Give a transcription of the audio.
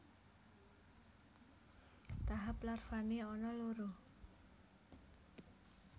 Tahap larvané ana loro